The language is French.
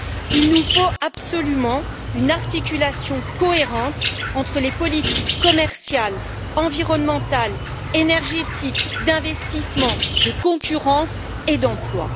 Il nous faut absolument une articulation cohérente entre les politiques commerciales, environnementales, énergétiques, d'investissement, de concurrence et d'emploi.